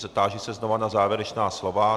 Táži se znovu na závěrečná slova.